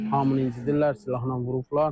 hamını incidirər, silahla vurublar.